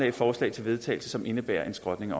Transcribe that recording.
et forslag til vedtagelse som indebærer en skrotning